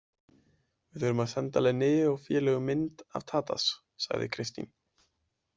Við þurfum að senda Linneu og félögum mynd af Tadas, sagði Kristín.